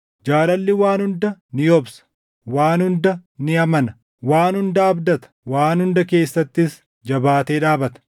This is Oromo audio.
Jaalalli waan hunda ni obsa; waan hunda ni amana; waan hunda abdata; waan hunda keessattis jabaatee dhaabata.